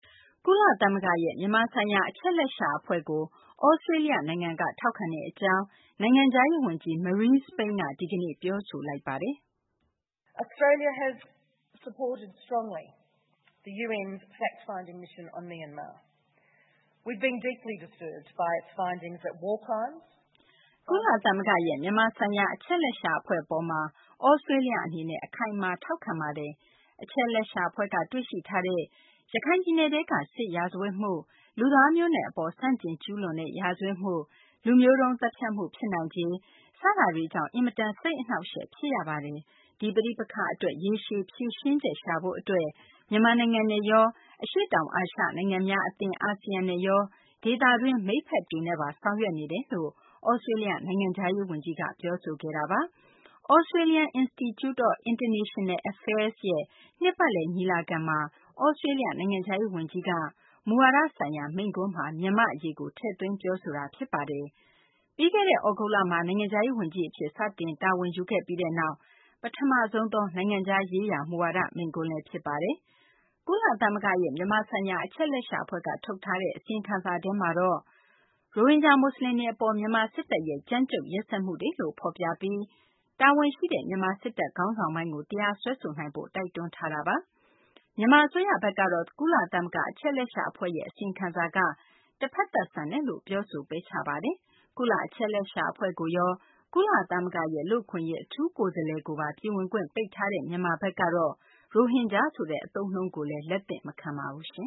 ကုလသမဂ္ဂရဲ့ မြန်မာဆိုင်ရာ အချက်အလက်ရှာ အဖွဲ့ကို သြစတေးလျ နိုင်ငံက ထောက်ခံကြောင်း နိုင်ငံခြားရေး ဝန်ကြီး Marise Payne က ဒီကနေ့ ပြောဆိုလိုက်ပါတယ်။ "ကုလသမဂ္ဂရဲ့ မြန်မာဆိုင်ရာ အချက်အလက်ရှာ အဖွဲ့ အပေါ်မှာ သြစတေးလျ အနေနဲ့ အခိုင်အမာ ထောက်ခံထားပါတယ်။ အချက်အလက်ရှာ အဖွဲ့က တွေ့ရှိထားတဲ့ ရခိုင်ပြည်နယ်ထဲက စစ်ရာဇဝတ်မှု၊ လူသားမျိုးနွယ် အပေါ် ဆန့်ကျင်ကျူးလွန်တဲ့ ရာဇဝတ်မှု၊ လူမျိုးတုန်း သတ်ဖြတ်မှု ဖြစ်နိုင်ခြေ စတာတွေကြောင့် အင်မတန် စိတ်အနှောင့်အယှက် ဖြစ်ရပါတယ်။ ဒီ ပဋိပက္ခ အတွက် ရေရှည် ဖြေရှင်းချက် ရှာဖို့ အတွက် မြန်မာနိုင်ငံနဲ့ရော၊ အရှေ့တောင်အာရှ နိုင်ငံများ အသင်း အာဆီယံနဲ့ရော ဒေသတွင်း မိတ်ဖက်တွေနဲ့ပါ ဆောင်ရွက်နေပါတယ်" လို့ သြစတေးလျ နိုင်ငံခြားရေး ဝန်ကြီးက ပြောဆိုခဲ့တာပါ။ Australian Institute of International Affairs ရဲ့ နှစ်ပတ်လည် ညီလာခံမှာ သြစတေးလျ နိုင်ငံခြားရေး ဝန်ကြီးက မူဝါဒဆိုင်ရာ မိန့်ခွန်းမှာ မြန်မာ့ အရေးကို ထည့်သွင်း ပြောဆိုသွားတာ ဖြစ်ပါတယ်။ ပြီးခဲ့တဲ့ သြဂုတ်လမှာ နိုင်ငံခြားရေး ဝန်ကြီး အဖြစ် စတင်တာဝန်ယူခဲ့ပြီးနောက် ပထမဆုံးသော နိုင်ငံခြားရေးရာ မူဝါဒ မိန့်ခွန်းလည်း ဖြစ်ပါတယ်။ ကုလသမဂ္ဂရဲ့ မြန်မာ ဆိုင်ရာအချက်အလက်ရှာ အဖွဲ့က ထုတ်ထားတဲ့ အစီရင်ခံစာထဲမှာတော့ ရိုဟင်ဂျာ မူဆလင်တွေ အပေါ် မြန်မာ စစ်တပ်ရဲ့ ကြမ်းကြုတ်ရက်စက်မှုတွေလို့ ဖော်ပြပြီး တာဝန်ရှိတဲ့ မြန်မာ စစ်တပ် ခေါင်းဆောင်ပိုင်းကို တရားစွဲဆိုနိုင်ဖို့ တိုက်တွန်းထားတာပါ။ မြန်မာ အစိုးရဘက်ကတော့ ကုလသမဂ္ဂ အချက်အလက်ရှာ အဖွဲ့ရဲ့ အစီရင်ခံစာက တဖက်သတ် ဆန်တယ်လို့ ပြောဆို ပယ်ချထားပါတယ်။ ကုလ အချက်အလက်ရှာ အဖွဲ့ကိုရော ကုလသမဂ္ဂရဲ့ လူ့အခွင့်အရေး အထူးကိုယ်စားလှယ်ကိုပါ ပြည်ဝင်ခွင့် ပိတ်ထားတဲ့ မြန်မာဘက်ကတော့ ရိုဟင်ဂျာဆိုတဲ့ အသုံးအနှုန်းကိုလည်း လက်သင့်မခံပါဘူး။